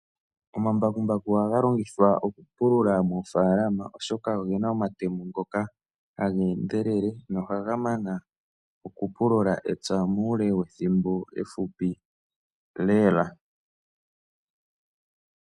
Omambakumbaku ohaga longithwa okupulula moofalama oshoka oge na omatemo ngoka haga endelele nohaga mana okupulula epya muule wethimbo efupi lela.